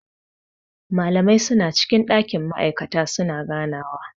Malamai suna cikin dakin ma'aikata su na ganawa..